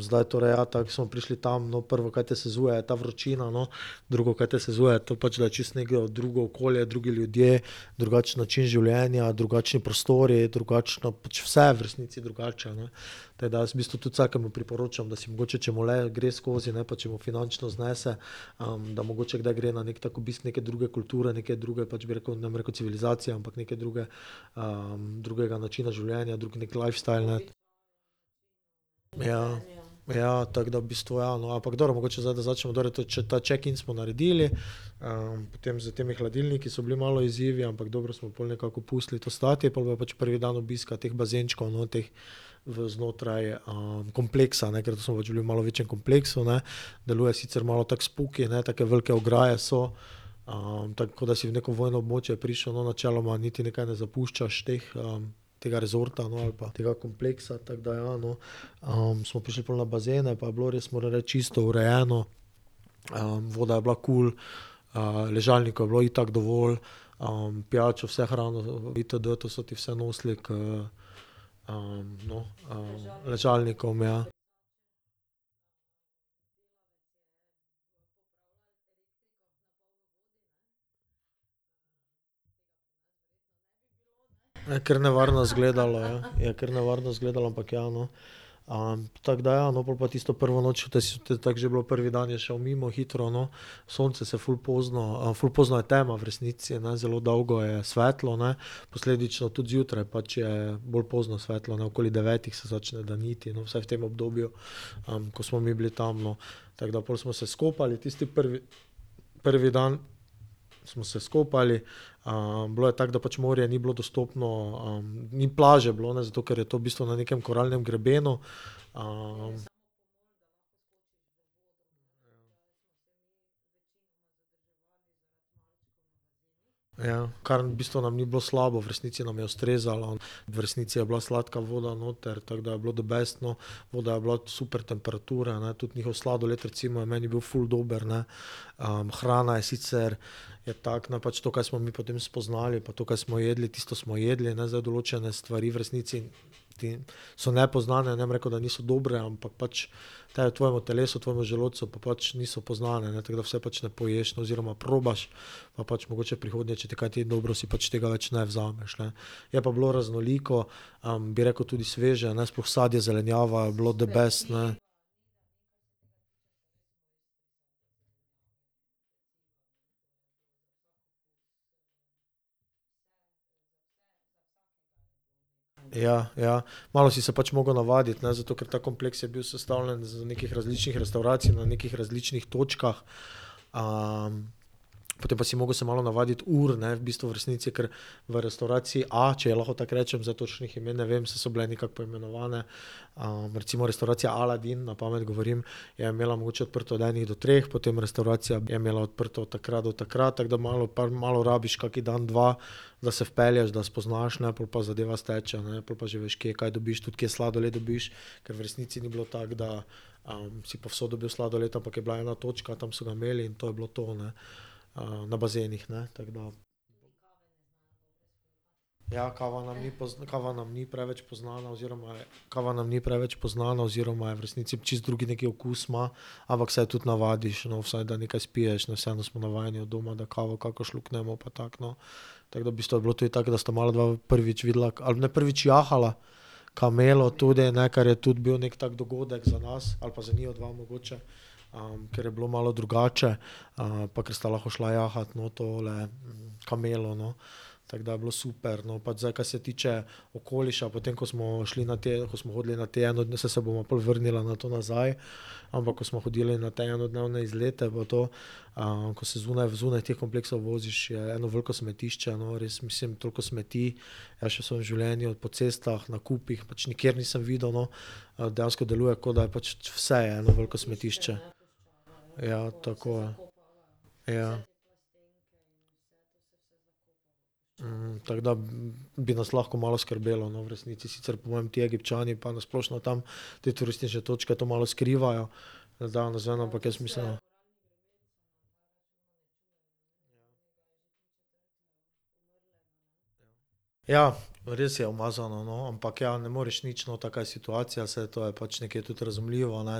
zdaj torej, ja, tako smo prišli tam, no, prvo, kaj te sezuje, je ta vročina, no. Drugo, kaj te sezuje, je to pač, da je čisto neko drugo okolje, drugi ljudje, drugačen način življenja, drugačni prostori, drugačno, pač vse je v resnici drugače, ne. Tako da jaz tudi v bistvu vsakemu priporočam, da si mogoče, če mu le gre skozi, ne, pa če mu finančno znese, da mogoče kdaj gre na neki tako obisk neke druge kulture, neke druge pač, bi rekel, ne bom rekel civilizacije, ampak neke druge, drugega načina življenja, drug neki lifestyle, ne. Ja. Ja, tako da v bistvu, ja, no, ampak dobro, mogoče zdaj, da začnemo, dobro ta checkin smo naredili, potem s temi hladilniki so bili malo izzivi, ampak dobro smo pol nekako pustili to stati, pol pa pač prvi dan obiska teh bazenčkov, no, teh v znotraj, kompleksa, ne, ker to smo pač bili v malo večjem kompleksu, ne. Deluje sicer malo tako spooky, ne, take velike ograje so, tako kot da si v neko vojno območje prišel, no, načeloma niti nekaj ne zapuščaš teh, tega resorta, no, ali pa tega kompleksa, tako da, ja, no. smo prišli pol na bazene pa je bilo res, moram reči čisto, urejeno, voda je bila kul, ležalnikov je bilo itak dovolj, pijačo, vse hrano, itd., to so ti vse nosili, k, no, ležalnikom, ja. Kar nevarno izgledalo, ja. Je kar nevarno izgledalo, ampak ja, no. tako da ja, no. Pol pa tisto prvo noč to to je tako že bilo, prvi dan je šel mimo hitro, no. Sonce se ful pozno, ful pozno je tema v resnici, ne, zelo dolgo je svetlo, ne. Posledično tudi zjutraj, pač je bolj pozno svetlo, ne, okoli devetih se začne daniti, no, vsaj v tem obdobju, no, ko smo mi bili tam, no. Tako da pol smo se skopali tisti prvi ... Prvi dan smo se skopali, bilo je tako, da pač morje ni bilo dostopno, ni plaže bilo, ne, zato ker je to v bistvu na nekem koralnem grebenu, Ja, kar v bistvu nam ni bilo slabo, v resnici nam je ustrezalo, v resnici je bila sladka voda noter, tako da je bilo the best, no. Voda je bila super temperatura, ne, tudi njihov sladoled, recimo, je meni bil ful dober, ne. hrana je sicer, je tako no pač to kaj smo mi potem spoznali, pa to, kaj smo jedli, tisto smo jedli, ne, zdaj določene stvari v resnici ti so nepoznane, ne bom rekel, da niso dobre, ampak pač potem v tvojemu telesu tvojemu želodcu pa pač niso poznane, ne, tako da vse pač ne poješ oziroma probaš, pa pač mogoče prihodnjič, če ti kaj ni dobro, si pač tega več ne vzameš, ne. Je pa bilo raznoliko, bi rekel, tudi sveže, ne, sploh sadje, zelenjava je bilo the best, ne. Ja, ja. Malo si se pač mogel navaditi, ne, zato ker ta kompleks je bil sestavljen iz nekih različnih restavracij na nekih različnih točkah. potem pa si mogel se malo navaditi ur, ne, v bistvu, v resnici kar v restavraciji, a, če ji lahko tako rečem, zdaj točnih imen ne vem, saj so bile nekako poimenovane. recimo restavracija Aladin, na pamet govorim, je imela mogoče odprto od ene do treh, potem restavracija je imela odprto od takrat do takrat, tako da malo malo rabiš, kakšen dan, dva, da se vpelješ, da spoznaš, ne, pol pa zadeva steče, ne. Pol pa že veš, kje kaj dobiš, tudi kje sladoled dobiš. Ker v resnici ni bilo, tako da, si povsod dobil sladoled, ampak je bila ena točka, tam so ga imeli in to je bilo to, ne. na bazenih ne, tako da. Ja, kava nam ni kava nam ni preveč poznana oziroma je, kava nam ni preveč poznana oziroma je v resnici čisto drugi neki okus ima, ampak se je tudi navadiš, no, vsaj da nekaj spiješ, no, vseeno smo navajeni od doma, da kavo kako šluknemo pa tako, no. Tako da v bistvu je bilo tudi tako, da sta mala dva prvič videla a ne prvič jahala kamelo tudi, ne, kar je bil tudi neki tak dogodek za nas ali pa za njiju dva mogoče. ker je bilo malo drugače, pa kar sta lahko šla jahat, no, tole kamelo, no. Tako da je bilo super, no, pač zdaj, kaj se tiče okoliša, potem ko smo šli na te, ko smo hodili na te saj se bomo pol vrnili na to nazaj, ampak ko smo hodili na te enodnevne izlete v to, ko se zunaj v zunaj teh kompleksov voziš, je eno veliko smetišče, no, res mislim, toliko smeti jaz še v svojem življenju, po cestah na kupih, pač nikjer nisem videl, no. dejansko deluje, kot da je pač, vse je eno veliko smetišče. Ja, tako ja. Ja. tako da bi nas lahko malo skrbelo, no, v resnici sicer po mojem ti Egipčani pa na splošno tam te turistične točke to malo skrivajo, ampak jaz mislim ... Ja. Res je umazano, no, ampak, ja ne moreš nič, no, taka je situacija, saj to je pač nekje tudi razumljivo, ne,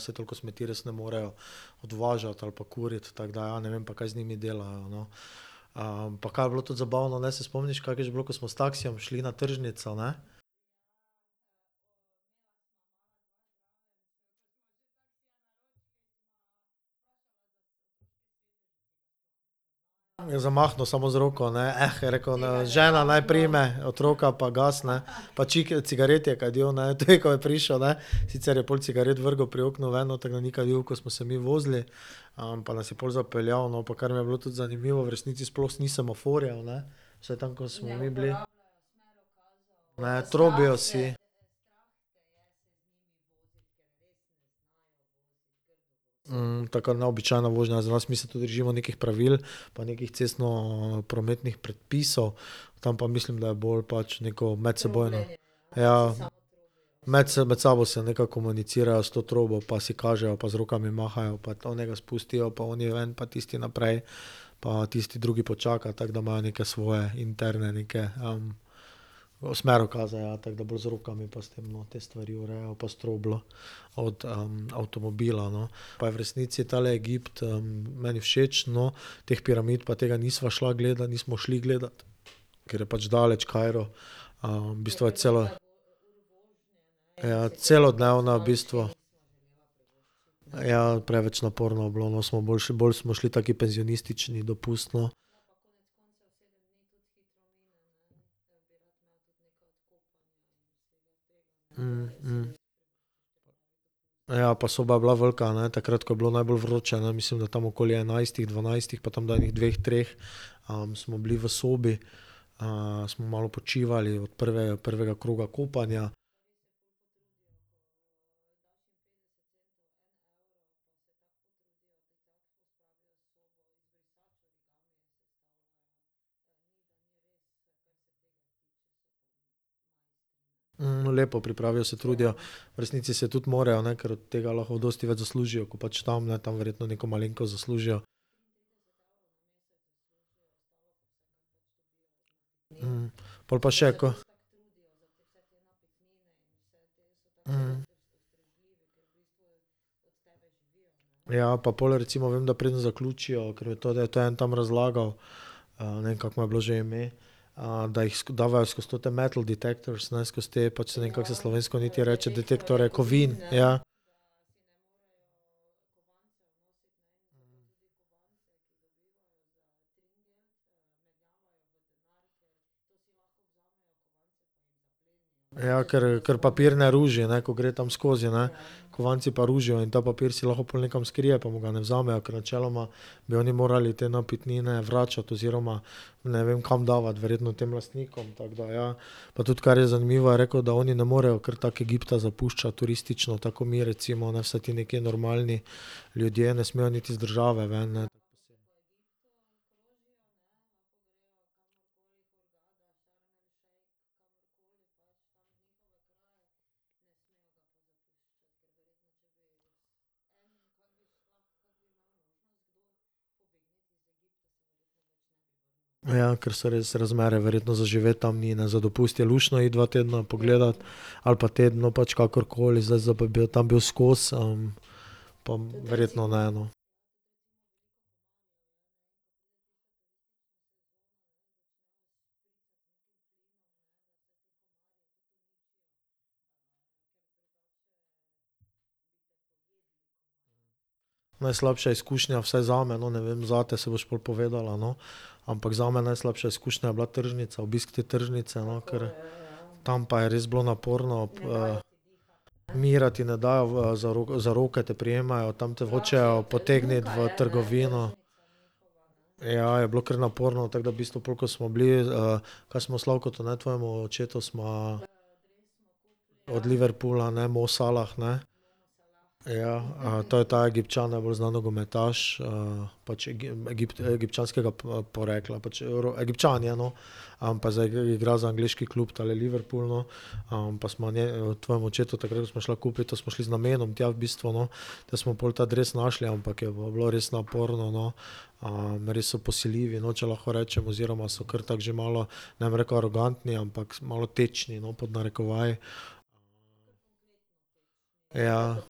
saj toliko smeti res ne morejo odvažati ali pa kuriti, tako da ja, ne vem, pa kaj z njimi delajo, no. pa kaj je bilo tudi zabavno, ne, se spomniš, kako je že bilo, ko smo s taksijem šli na tržnico, ne? Je zamahnil samo z eno roko, ne: je rekel, ne, "žena naj prime otroka pa gas, ne." Pač čike, cigaret je kadil, ne, tudi, ko je prišel, ne, sicer je pol cigaret vrgel pri oknu ven, noter ga ni kadil, ko smo se mi vozili, pa nas je pol zapeljal, no, pa kar mi je bilo tudi zanimivo, v resnici sploh ni semaforjev, ne, vsaj tam, ko smo mi bili. Ne, trobijo vsi. taka neobičajna vožnja za nas, mi se tu držimo nekih pravil pa nekih cestnoprometnih predpisov, tam pa mislim, da je bolj pač neko medsebojno, ja. Med med sabo se nekako komunicirajo s to trobo pa si kažejo pa z rokami mahajo pa onega spustijo pa oni ven pa tisti naprej pa tisti drugi počaka, tako da imajo neke svoje interne neke, smerokaze, ja, tako da bolj z rokami pa s tem, no, te stvari urejajo pa s trobljo. Od, avtomobila, no. Pa je v resnici tale Egipt, meni všeč, no, teh piramid pa tega nisva šla nismo šli gledat, ker je pač daleč Kairo, v bistvu je cela ... Ja, celodnevna v bistvu. Ja, preveč naporno je bilo, no, smo bolj, bolj smo šli taki penzionistični dopust, no. Ja, pa soba je bila velika, ne, takrat, ko je bilo najbolj vroče, ne, mislim tam okoli enajstih, dvanajstih pa tam do ene dveh, treh, smo bili v sobi, smo malo počivali v prvega kroga kopanja. lepo pripravijo, se trudijo. V resnici se tudi morajo, ne, ker od tega lahko dosti več zaslužijo, ko pač tam, ne, tam verjetno neko malenkost zaslužijo. pol pa še ko ... Ja, pa pol recimo, vem, da preden zaključijo, ker , da je to en tam razlagal, ne vem, kako mu je bilo že ime, da jih dajejo skozi te metal detectors, skozi te pač, saj ne vem, kako se slovensko niti reče, detektorje kovin, ja. Ja, ker, ker papir ne ruži, ne, ko gre tam skozi, ne. Kovanci pa ružijo in ta papir si lahko pol nekam skrije pa mu ga ne vzamejo, ker načeloma bi oni morali te napitnine vračati oziroma, ne vem, kam davati, verjetno tem lastnikom, tako da ja, pa tudi, kar je zanimivo, je rekel, da oni ne morejo kar tako Egipta zapuščati, turistično, tako ko mi, recimo, ne, vsaj ti nekaj normalni ljudje ne smejo niti z države ven, ne. Ja, ker so res razmere verjetno za živeti tam ni, ne, za dopust je luštno iti dva tedna pogledat ali pa teden, no, pač kakorkoli za zdaj, da bi pa tam bil skozi, pa verjetno ne, no. Najslabša izkušnja vsaj zame, no, ne vem, zate, saj boš pol povedala, no, ampak zame najslabša izkušnja je bila tržnica, obisk te tržnice, no, kar tam pa je res bilo naporno, Miru ti ne dajo za za roke te prijemajo tam te hočejo potegniti v trgovino. Ja, je bilo kar naporno, tako da v bistvu pol, ko smo bili, kaj smo Slavkotu, ne tvojemu očetu sva od Liverpoola, ne Mosalah, ne. Ja, to je ta Egipčan najbolj znani nogometaš, pač egipčanskega porekla pač, Egipčan je, no. pa zdaj igra za angleški klub tale Liverpool, no, pa smo tvojemu očetu takrat, ko šla kupit, to smo šli z namenom tja v bistvu, no, da smo pol ta dres našli, ampak je pa bilo res naporno, no. res so posiljivi, no, če lahko rečem, oziroma so kar tako že malo, ne bom rekel arogantni, ampak malo tečni, no, pod narekovaji. Ja.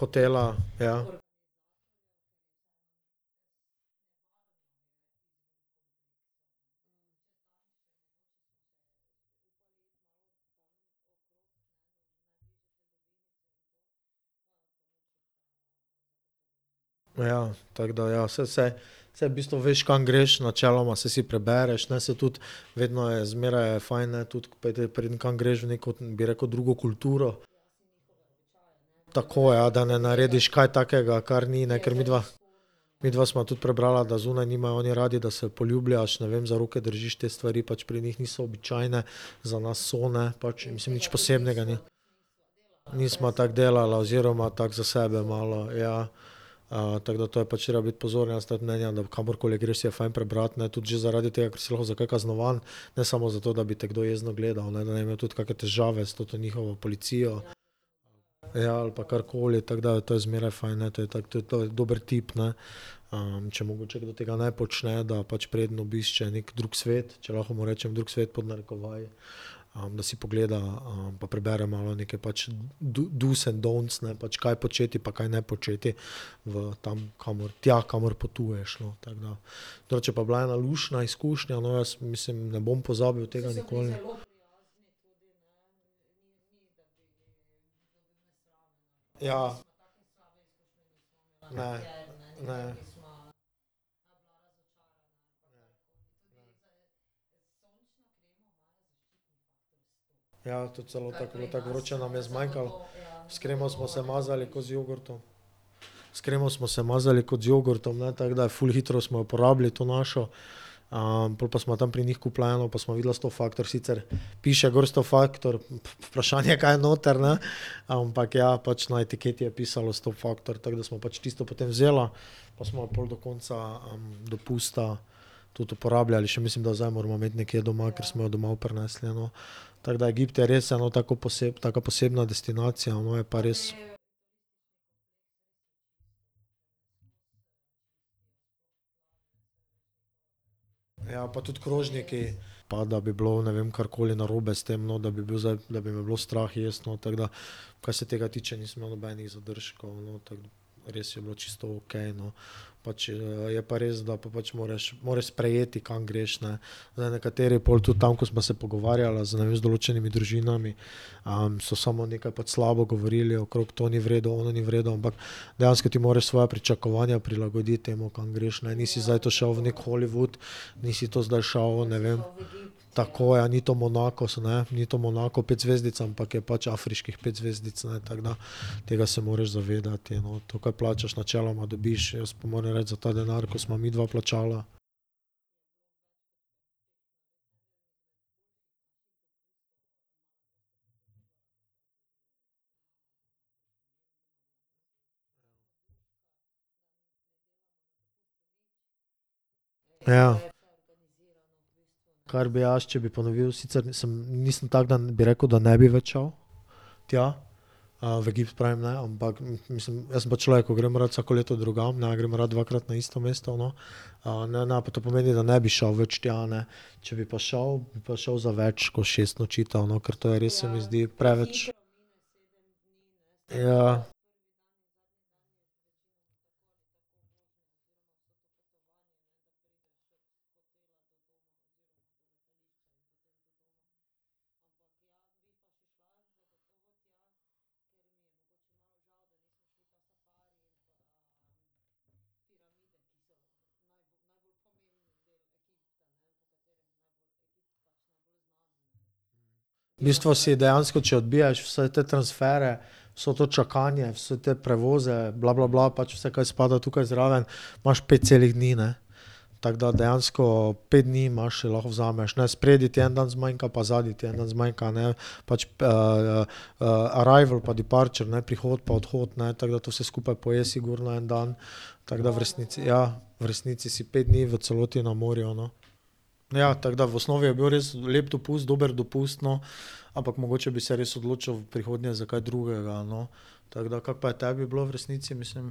Hotela, ja. Ja, tako da ja, saj vse, saj v bistvu veš, kam greš, načeloma saj si prebereš, ne, saj tudi vedno je zmeraj je fajn, ne, tudi , preden kam greš, v bi rekel, drugo kulturo. Tako, ja, da ne narediš kaj takega, kar ni, ne, ker midva ... Midva sva tudi prebrala, da zunaj nimajo oni radi, da se poljubljaš, ne vem, za roke držiš, te stvari pač pri njih niso običajne, za nas so, ne, pač nič posebnega, ni. Nisva tako delala oziroma tako za sebe malo, ja. tako da to je pač treba biti pozoren, jaz sem tudi mnenja, da kamorkoli greš, si je fajn prebrati, ne, tudi že zaradi tega, ker si lahko za kaj kaznovan, ne samo zato, da bi te kdo jezno gledal, ne, da ne bi imeli tudi kake težave s to njihovo policijo. Ja, ali pa karkoli, tako da to je zmeraj fajn, ne, to je tako tudi, to je dober tip, ne. če mogoče tega ne počne, da pač preden obišče neki drug svet, če lahko mu rečem drug svet pod narekovaji, da si pogleda, pa prebere malo neke pač, dos and don'ts, ne, pač kaj početi pa kaj ne početi v tam, kamor, tja kamor potuješ, no, tako da. Drugače je bila pa ena luštna izkušnja, no, jaz mislim, ne bom pozabil tega. Ja. Ne, ne. Ja, tudi celo tako je bilo tako vroče, nam je zmanjkalo ... S kremo smo se mazali ko z jogurtom. S kremo smo se mazali kot z jogurtom, ne, tako da ful hitro smo jo porabili to našo. pol pa sva tam pri njih kupila eno, pa sva videla sto faktor, sicer piše gor sto faktor, vprašanje, kaj je noter, ne, ampak ja pač na etiketi je pisalo sto faktor, tako da sva pač tisto potem vzela. Pa sva jo pol do konca, dopusta tudi uporabljali še, mislim, da zdaj jo moramo imeti nekje doma, ker smo jo domov prinesli, no. Tako da Egipt je res eno tako taka posebna destinacija, no, je pa res ... Ja, pa tudi krožniki, pa da bi bilo ne vem, karkoli narobe s tem, no, da bi bil zdaj, da bi me bilo strah jesti, no, tako da, kaj se tega tiče, nisem imel nobenih zadržkov, no, tako, res je bilo čisto okej, no. Pač, je pa res, da pa pač moraš, moraš sprejeti, kam greš, ne. Zdaj nekateri pol tudi tam, ko sva se pogovarjala z ne vem, z določenimi družinami, so samo nekaj pač slabo govorili okrog, to ni v redu, ono ni v redu, ampak dejansko ti moraš svoja pričakovanja prilagoditi temu, kam greš, ne, nisi zdaj to šel v neki Hollywood, nisi to zdaj šel, ne vem. Tako, ja. Ni to Monakos, ne, ni to Monako, ne, pet zvezdic, ampak je pač afriških pet zvezdic, ne, tako da. Tega se moreš zavedati, no, to, kaj plačaš, načeloma dobiš, jaz pa moram reči za ta denar, ko sva midva plačala ... Ja. Kar bi jaz, če bi ponovil, sicer nisem, nisem tako, da bi rekel, da ne bi več šel tja, v Egipt pravim, ne, ampak mislim, jaz sem pač človek, ko grem rad vsako leto drugam, ne grem rad dvakrat na isto mesto, no. ne pa to pomeni, da ne bi šel več tja, ne, če bi pa šel, bi šel pa za več kot šest nočitev, no, ker to je res se mi zdi preveč. Ja. V bistvu si dejansko, če odbijaš vse te transfere, vse to čakanje, vse te prevoze bla, bla, bla, pač vse, kaj spada tukaj zraven, imaš pet celih dni, ne. Tako da dejansko pet dni imaš, lahko vzameš, ne, spredaj ti en dan zmanjka pa zadaj ti en dan zmanjka, ne, pač, arrival pa departure, ne, prihod pa odhod, ne tako da to vse skupaj poje sigurno en dan. Tako da v resnici, ja, v resnici si pet dni v celoti na morju, no. Ja, tako da v osnovi je bil res lep dopust, dober dopust, no, ampak mogoče bi se res odločil v prihodnje za kaj drugega, no, tako da kako pa je tebi bilo v resnici, mislim?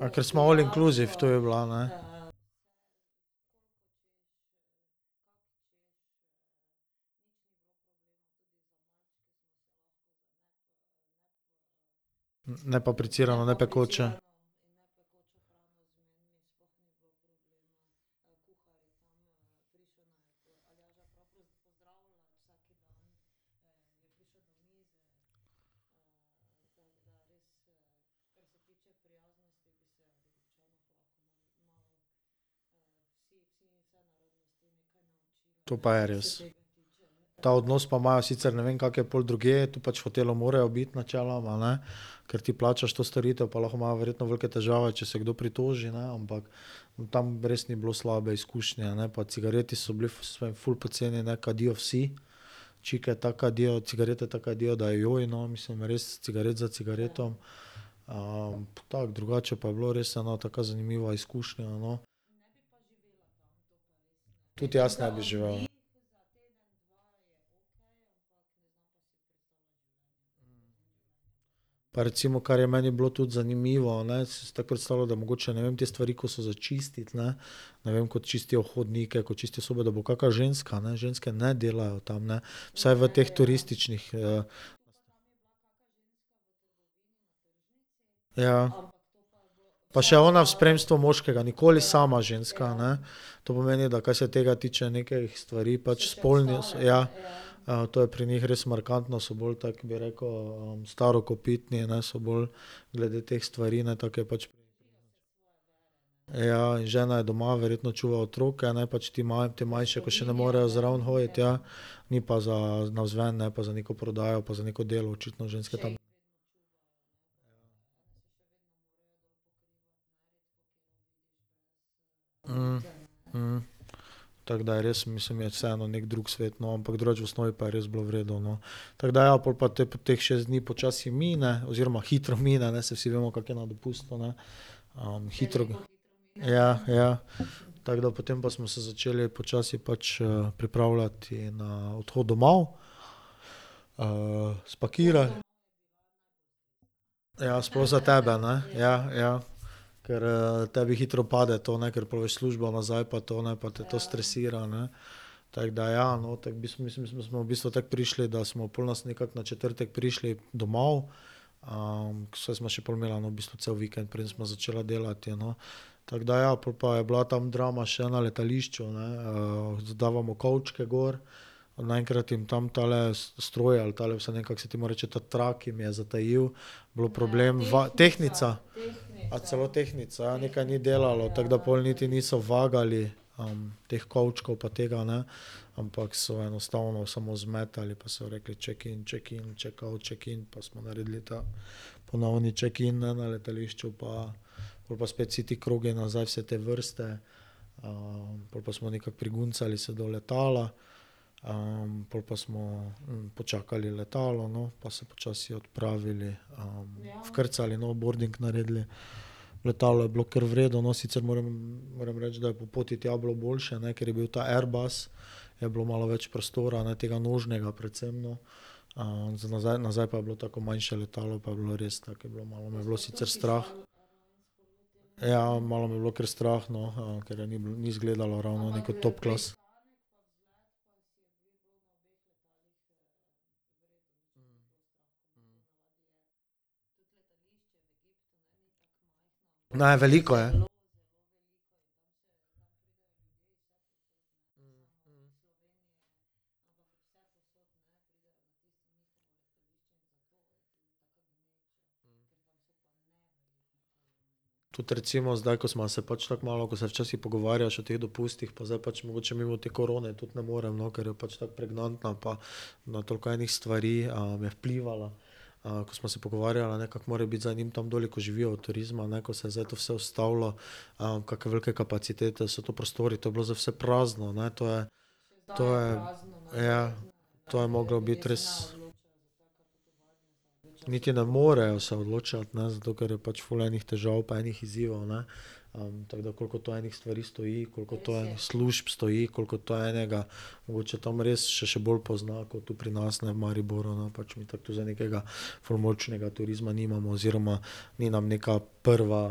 A ker smo all inclusive, to je bila, ne. Ne pa pretirano nepekoče. To pa je res. Ta odnos pa imajo, sicer, ne vem, kako je pol drugje, to pač v hotelu morajo biti načeloma, ne. Ker ti plačaš to storitev, pa lahko imajo verjetno velike težave, če se kdo pritoži, ne, ampak tam res ni bilo slabe izkušnje, ne, pa cigareti so bili so ful poceni, ne, kadijo vsi čike tako kadijo, cigarete tako kadijo, da je, no, mislim res cigaret za cigaretom. tako, drugače je pa bilo res ena taka zanimiva izkušnja, no. Tudi jaz ne bi živel. Pa recimo, kar je meni bilo tudi zanimivo, ne, tako predstavljal, da mogoče, ne vem, te stvari, ko so za čistiti, ne, ne vem, ko čistijo hodniku, ko čistijo sobo, da bo kaka ženska, ne, ženske ne delajo tam, ne, vsaj v teh turističnih, Ja. Pa še ona v spremstvu moškega nikoli sama ženska, ne. To pomeni, da kar se tega tiče, nekih stvari, pač spolnih, ja, to je pri njih res markantno, so bolj tako bi rekel starokopitni, ne, so bolj glede teh stvari, ne, tako je pač. Ja, in žena je doma, verjetno čuva otroke, ne, pač ti te manjše, ko še ne morejo zraven hoditi, ja. Ni pa za navzven, ne, pa za neko prodajo pa za neko delo očitno ženske tam. Tako da je res, mislim, je vseeno neki drug svet, no, ampak drugače v osnovi pa je res bilo v redu, no. Tako da ja, pol pa teh šest dni počasi mine oziroma hitro mine, ne, saj vsi vemo, kako je na dopustu, ne. hitro. Ja, ja. Tako da potem pa smo se začeli počasi pač pripravljati na odhod domov, spakiral. Ja, sploh za tebe, ne. Ja, ja. Kar, tebi hitro pade to, ne, ker pol v službo nazaj pa to ne, pa te to stresira, ne. Tako da ja, no, tako v mi smo v bistvu tako prišli, da smo pol so nas nekako na četrtek prišli domov. saj sva še pol imela v bistvu cel vikend, preden sva začela delati, no. Tako da, ja, pol pa je bila tam drama še na letališču, ne, Zdavamo kovčke gor, naenkrat jim tam tale stroj ali tale, saj ne vem, kako se temu reče, ta trak jim je zatajil, bilo problem tehtnica. A celo tehtnica, ja, nekaj ni delalo, tako da pol niti niso vagali, teh kovčkov pa tega, ne, ampak so enostavno samo zmetali pa so rekli: "Check in, check in, check out, check in," pa smo naredili ta ponovni check in, ne, na letališču pa pol pa spet vsi ti krogi nazaj vse te vrste, pol pa smo nekako priguncali se do letala, pol pa smo, počakali letalo, no, pa se počasi odpravili, vkrcali, no, boarding naredili, letalo je bilo kar v redu, no, sicer moram moram reči, da je pol poti tja bilo boljše, ne, ker je bil ta airbus, je bilo malo več prostora, ne, tega nožnega predvsem, no. za nazaj, nazaj pa je bilo tako manjše letalo, pa je bilo res tako je bilo, malo me je bilo sicer strah. ja malo me je bilo kar strah, no, ker ni bil, ni izgledalo ravno nek top class. Ne, veliko je. Tudi recimo zdaj, ko sva se pač tako malo, ko se včasih pogovarjaš o teh dopustih pa zdaj pač mogoče mimo te korone tudi ne morem, no, ker je pač tako pregnantna pa na toliko enih stvari, je vplivala. ko sva se pogovarjala, ne, kako more biti zdaj njim tam doli, ki živijo od turizma, ne, ko se zdaj to vse ustavilo, kakšne velike kapacitete so to, prostori, to je bilo zdaj vse prazno, ne, to je, to je, ja. To je moglo biti res. Niti ne morejo se odločati, ne, zato ker je pač ful enih težav pa ene izzivov, ne, tako da koliko to ene stvari stoji, koliko to služb stoji, koliko to enega, mogoče tam res se še bolj pozna kot tu pri nas, ne, v Mariboru no pač mi tu zdaj nekega ful močnega turizma nimamo oziroma ni nam nekaj prva,